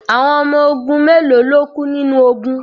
Awon omo ogun melo lo ku ninu ogun